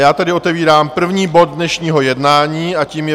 Já tedy otevírám první bod dnešního jednání a tím je